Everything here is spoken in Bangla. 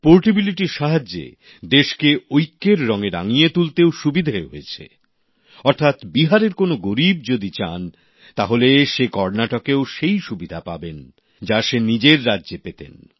পোর্টেবিলিটির সাহায্যে দেশকে ঐক্যের রঙে রাঙিয়ে তুলতেও সুবিধে হয়েছে অর্থাৎ বিহারের কোন গরীব যদি চান তাহলে তিনি কর্ণাটকেও সেই সুবিধাই পাবেন যা তিনি নিজের রাজ্যে পেতেন